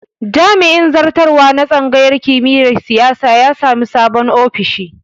Jami'in zartarwa na tsangayar kimiyar siyasa ya sami sabon ofishi